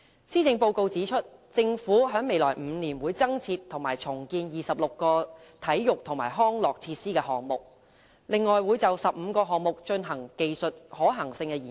施政報告指出，政府在未來5年會增建和重建26個體育及康樂設施項目，另會就15個項目進行技術可行性研究。